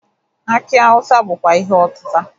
Akị awụsa bụkwa ihe ọtịta.